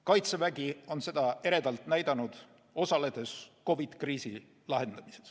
Kaitsevägi on seda võimet eredalt näidanud, osaledes COVID-i kriisi lahendamises.